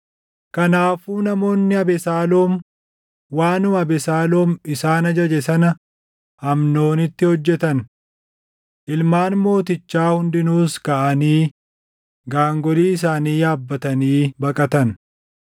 Kanaafuu namoonni Abesaaloom waanuma Abesaaloom isaan ajaje sana Amnoonitti hojjetan. Ilmaan mootichaa hundinuus kaʼanii gaangolii isaanii yaabbatanii baqatan.